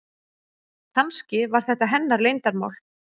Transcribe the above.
Kannski var þetta hennar leyndarmál.